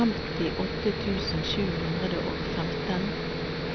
femtiåtte tusen sju hundre og femten